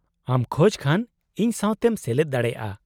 -ᱟᱢ ᱠᱷᱚᱡ ᱠᱷᱟᱱ ᱤᱧ ᱥᱟᱶᱛᱮᱢ ᱥᱮᱞᱮᱫ ᱫᱟᱲᱮᱭᱟᱜᱼᱟ ᱾